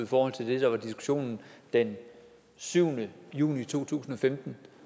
forhold til det der var diskussionen den syvende juni to tusind og femten